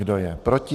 Kdo je proti?